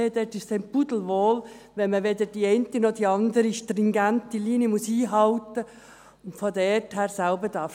Dort ist es einem pudelwohl, weil man weder die eine noch die andere stringente Linie einhalten muss und selber denken darf.